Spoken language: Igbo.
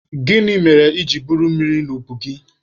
Gịnị mere iji buru mmiri a n'ubu gị?